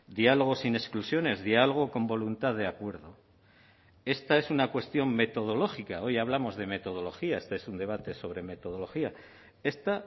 diálogo sin exclusiones diálogo con voluntad de acuerdo esta es una cuestión metodológica hoy hablamos de metodología este es un debate sobre metodología esta